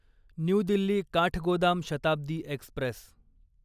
new Delhi Kathgodam Shatabdi Express